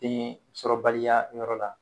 Densɔrɔbaliya yɔrɔ la.